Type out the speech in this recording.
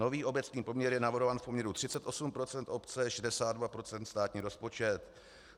Nový obecný poměr je navrhován v poměru 38 % obce, 62 % státní rozpočet.